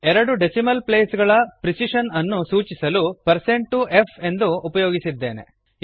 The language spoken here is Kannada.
ಎರಡು ಡೆಸಿಮಲ್ ಪ್ಲೇಸ್ ಗಳ ಪ್ರಿಸಿಶನ್ ಅನ್ನು ಸೂಚಿಸಲು ಪರ್ಸಂಟ್ ಟು ಎಫ್ ಅನ್ನು ಉಪಯೋಗಿಸಿದ್ದೇ೧ವೆ